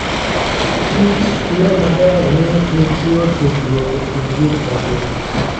Kichyo maber ni nitie tudruok e kind gik mangima.